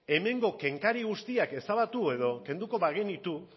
hemengo kenkari guztiak ezabatu edo kenduko bagenitu